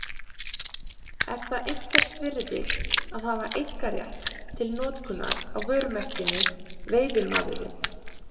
Er það einhvers virði að hafa einkarétt til notkunar á vörumerkinu Veiðimaðurinn?